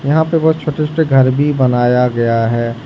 यहां पे बहोत छोटे-छोटे घर भी बनाया गया है।